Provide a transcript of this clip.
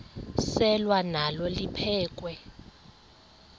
selwa nalo liphekhwe